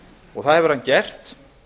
og það hefur hann gert